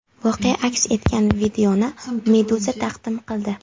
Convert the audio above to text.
Voqea aks etgan videoni Meduza taqdim qildi .